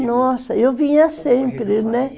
Nossa, eu vinha sempre.